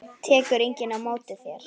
Tekur enginn á móti þér?